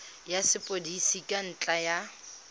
ya sepodisi ka ntlha ya